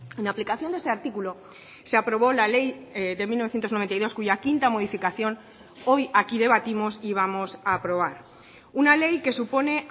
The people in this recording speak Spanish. en aplicación de este artículo se aprobó la ley de mil novecientos noventa y dos cuya quinta modificación hoy aquí debatimos y vamos a aprobar una ley que supone